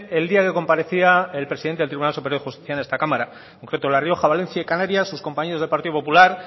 en día que comparecía el presidente del tribunal de justicia en esta cámara por cierto la rioja valencia y canarias sus compañeros del partido popular